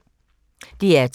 DR2